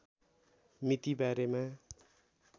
मिति बारेमा